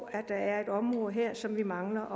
at der er et område her som vi mangler